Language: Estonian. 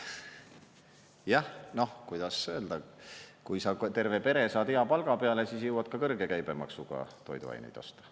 Jah, noh, kuidas öelda, kui sa ka terve pere saad hea palga peale, siis jõuad ka kõrge käibemaksuga toiduaineid osta.